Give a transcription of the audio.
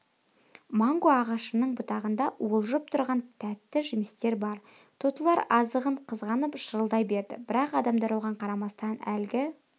манго ағашының бұтағында уылжып тұрған тәтті жемістер бар тотылар азығын қызғанып шырылдай берді бірақ адамдар оған қарамастан әлгі